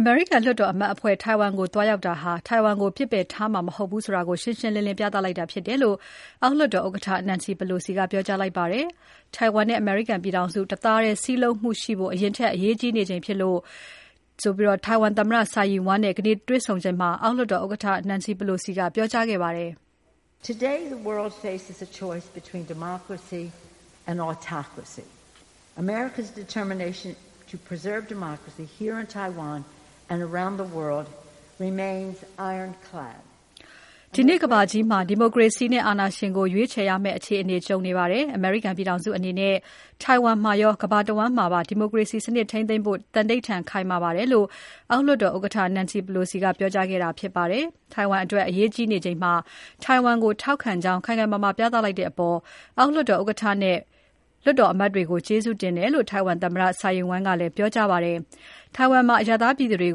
အမေရိကန်လွှတ်တော်အမတ်အဖွဲ့ ထိုင်ဝမ်ကို သွားရောက်တာဟာ ထိုင်ဝမ်ကို ပစ်ပယ်ထားမှာ မဟုတ်ဘူးဆိုတာ ရှင်းရှင်းလင်းလင်း ပြသလိုက်တာဖြစ်တယ်လို့ အောက်လွှတ်တော်ဥက္ကဋ္ဌ Nancy Pelosi က ပြောကြားလိုက်ပါတယ်။ ထိုင်ဝမ်နဲ့ အမေရိကန်ပြည်ထောင်စု တသားတည်း စည်းလုံးမှုရှိဖို့ အရင်ထက် အရေးကြီးနေချိန်ဖြစ်တယ်လို့ ထိုင်ဝမ်သမ္မတ Tsai Ing-wen နဲ့ ဒီနေ့ တွ့ဆုံစဉ်မှာ အောက်လွှတ်တော် ဥက္ကဋ္ဌ Nancy Pelosi ကပြောကြားခဲ့ပါတယ်။ “ဒီနေ့ကမ္ဘာကြီးမှာ ဒီမိုကရေစီနဲ့ အာဏာရှင်ကို ရွေးချယ်ရမယ့် အခြေအနေကြုံနေပါတယ်။ အမေရိကန်ပြည်ထောင်စုအနေနဲ့ ထိုင်ဝမ်မှာရော ကမ္ဘာတဝန်းမှာပါ ဒီမိုကရေစီစနစ်ထိန်းသိမ်းဖို့ သန္နိဌာန်ခိုင်မာပါတယ်” လို့ အောက်လွှတ်တော် ဥက္ကဋ္ဌ Nancy Pelosi က ပြောကြားခဲ့တာဖြစ်ပါတယ်။ ထိုင်ဝမ်အတွက် အရေးကြီးနေချိန်မှာ ထိုင်ဝမ်ကိုထောက်ခံကြောင်း ခိုင်ခိုင်မာမာပြသလိုက်တဲ့အပေါ် အောက်လွှတ်တော်ဥက္ကဋ္ဌနဲ့ လွှတ်တော်အမတ်တွေကို ကျေးဇူးတင်တယ်လို့ ထိုင်ဝမ်သမ္မတ Tsai Ing-wen ကလည်း ပြောကြားခဲ့ပါတယ်။ ထိုင်ဝမ်မှာ အရပ်သားပြည်သူတွေ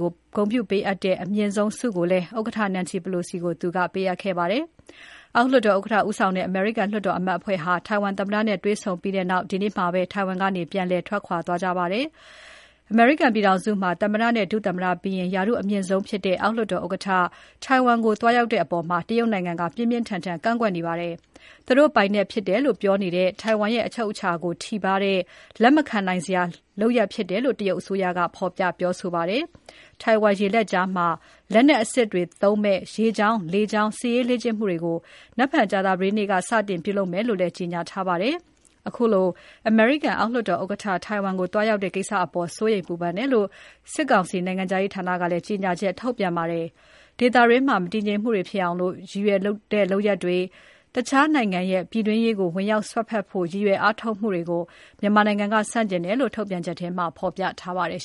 ကို ဂုဏ်ပြုပေးအပ်တဲ့ အမြင့်ဆုံး Order of the Propitious Clouds ဆုကိုလည်း ဥက္ကဋ္ဌ Nancy Pelosi ကို ပေးခဲ့ပါတယ်။ အောက်လွှတ်တော်ဥက္ကဋ္ဌဦးဆောင်တဲ့ အမေရိကန်လွှတ်တော်အမတ်အဖွဲ့ဟာ ထိုင်ဝမ်သမ္မတနဲ့ တွေ့ဆုံပြီးနောက် ဒီနေ့ပဲ ထိုင်ဝမ်ကနေ ပြန်လည်ထွက်ခွာသွားကြပါတယ်။ အမေရိကန်ပြည်ထောင်စုမှာ သမ္မတနဲ့ ဒုသမ္မတပြီးရင် ရာထူးအမြင့်ဆုံးဖြစ်တဲ့ အောက်လွှတ်တော်ဥက္ကဋ္ဌ ထိုင်ဝမ်ကို သွားရောက်ခဲ့တဲ့အပေါ် တရုတ်နိုင်ငံက ပြင်းပြင်းထန်ထန် ကန့်ကွက်နေပါတယ်။ သူတို့ပိုင်နက်ဖြစ်တယ်လို့ ပြောနေတဲ့ ထိုင်ဝမ် ရဲ့အချုပ်အခြာကို ထိပါးတဲ့ လက်မခံနိုင်တဲ့လုပ်ရပ်ဖြစ်တယ်လို့ တရုတ်အစိုးရက ဖော်ပြပြောဆိုခဲ့ပါတယ်။ ထိုင်ဝမ်ကျွန်းရေလက်ကြားမှာ လက်နက်အစစ်တွေသုံးမယ့် ရေကြောင်း လေကြောင်း စစ်ရေးလေ့ကျင့်မှုတွေကို နက်ဖြန်ကြာသပတေးနေ့က စတင်ပြုလုပ်မယ်လို့လည်း ကြေညာထားပါတယ်။ ခုလို အမေရိကန်အောက်လွှတ်တော် ဥက္ကဋ္ဌ ထိုင်ဝမ်ကို သွားရောက်တဲ့ကိစ္စအပေါ် စိုးရိမ်ပူပန်တယ်လို့ စစ်ကောင်စီနိုင်ငံခြားရေးဌာနက ကြေညာချက်ထုတ်ပြန်ပါတယ်။ ဒေသတွင်း မတည်ငြိမ်မှုတွေ ဖြစ်အောင် ရည်ရွယ်တဲ့လုပ်ရပ်တွေနဲ့ တခြားနိုင် ငံရဲ့ ပြည်တွင်းရေးကို ဝင်ရောက်စွက်ဖက်ဖို့ ရည်ရွယ်အားထုတ်မှုတွေကို မြန်မာနိုင် ငံက ဆန့်ကျင်တယ်လို့ ထုတ်ပြန်ချက်မှာ ပြောထားပါတယ်